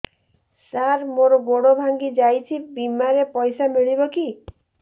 ସାର ମର ଗୋଡ ଭଙ୍ଗି ଯାଇ ଛି ବିମାରେ ପଇସା ମିଳିବ କି